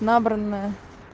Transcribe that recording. набранная